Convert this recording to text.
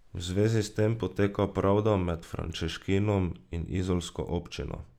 V zvezi s tem poteka pravda med Frančeškinom in izolsko občino.